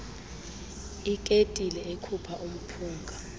iketile ekhupha umphunga